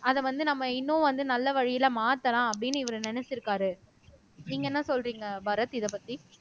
அத வந்து நம்ம இன்னும் வந்து நல்ல வழியில மாத்தலாம் அப்படின்னு இவர் நினைச்சிருக்காரு நீங்க என்ன சொல்றீங்க பரத் இதைப்பத்தி